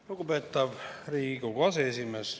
Lugupeetav Riigikogu aseesimees!